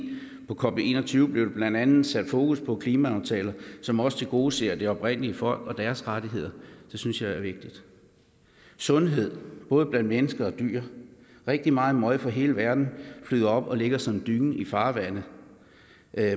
på cop en og tyve blev der blandt andet sat fokus på klimaaftaler som også tilgodeser de oprindelige folk og deres rettigheder det synes jeg er vigtigt sundhed både blandt mennesker og dyr rigtig meget møg fra hele verden flyder op og ligger som en dyne i farvandet